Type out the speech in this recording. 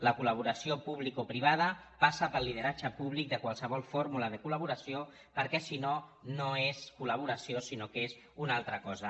la col·laboració publicoprivada passa pel lideratge públic de qualsevol fórmula de col·laboració perquè si no no és collaboració sinó que és una altra cosa